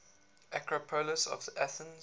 acropolis of athens